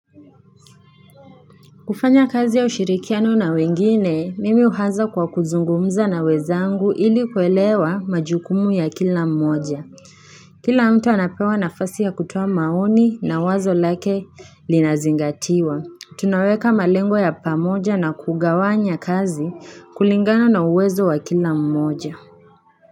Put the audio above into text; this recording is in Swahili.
Kufanya kazi ya ushirikiano na wengine, mimi uhaza kwa kuzungumza na wenzangu ili kuelewa majukumu ya kila mmoja. Kila mtu anapewa nafasi ya kutoa maoni na wazo lake linazingatiwa. Tunaweka malengo ya pamoja na kugawanya kazi kulingana na uwezo wa kila mmoja.